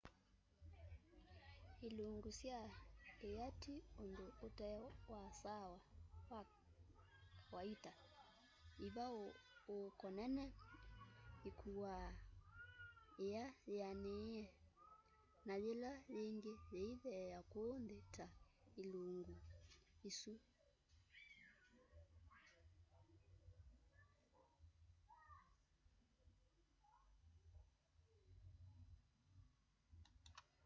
ilungu sya ia ti undu ute wa kawaita ivauuko nene ikuaa ia yianiie na yila yingi yiithea kuu nthi ta ilungu isu